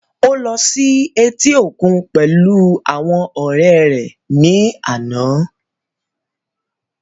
Ó lọ sí etí òkun pẹ̀lú àwọn ọ̀rẹ́ rẹ̀ ní àná